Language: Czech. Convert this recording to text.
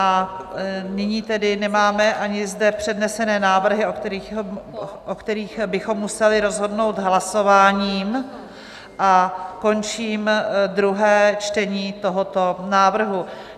A nyní tedy nemáme ani zde přednesené návrhy, o kterých bychom museli rozhodnout hlasováním, a končím druhé čtení tohoto návrhu.